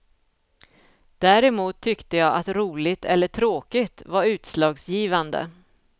Däremot tyckte jag att roligt eller tråkigt var utslagsgivande.